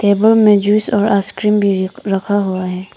Table में juice और ice cream भी रखा हुआ है।